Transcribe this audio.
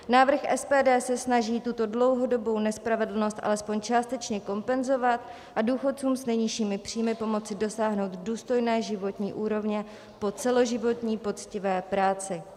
Návrh SPD se snaží tuto dlouhodobou nespravedlnost alespoň částečně kompenzovat a důchodcům s nejnižšími příjmy pomoci dosáhnout důstojné životní úrovně po celoživotní poctivé práci.